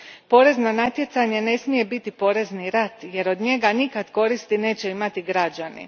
Porezno natjecanje ne smije biti porezni rat jer od njega nikada koristi neće imati građani.